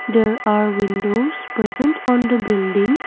there are windows present on the building.